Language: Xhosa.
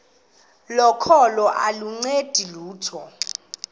kokholo aluncedi lutho